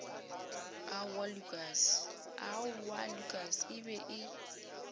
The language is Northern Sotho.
aowaa lukas e be e